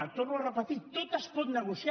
ho torno a repetir tot es pot negociar